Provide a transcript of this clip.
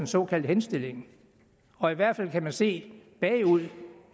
såkaldt henstilling og i hvert fald kan man se bagud